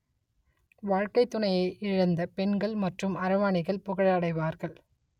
வாழ்க்கைத்துணையை இழந்த பெண்கள் மற்றும் அரவாணிகள் புகழடைவார்கள்